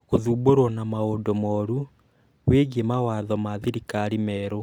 gũthumbũrũo na maũndũ moru wigii mawatho ma thirikari merũ